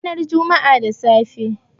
Ranar Juma'a da safe.